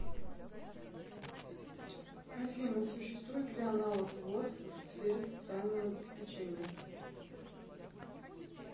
афина существует ли аналог воз в сфере социального обеспечения